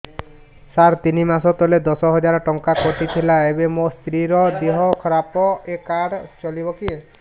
ସାର ତିନି ମାସ ତଳେ ଦଶ ହଜାର ଟଙ୍କା କଟି ଥିଲା ଏବେ ମୋ ସ୍ତ୍ରୀ ର ଦିହ ଖରାପ ଏ କାର୍ଡ ଚଳିବକି